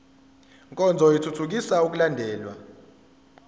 nkonzo ithuthukisa ukulandelwa